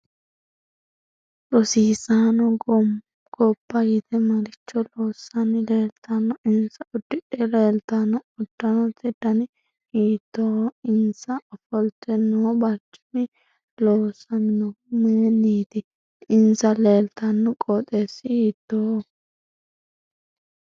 Rosiisaanno ganbba yite maricho loosanni leeltanno insa udidhe leeltanno uddanote dani hiitooho insa ofolte noo barcimi loosaminohu mayiiniiti insa leeltanno qooxeesi hiitooho